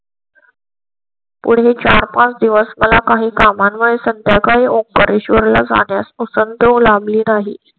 पुढे चार पाच दिवस मला काही सामान वर संध्याकाळी ओ परेश्वर ला जाण्यास पासून ली नाही.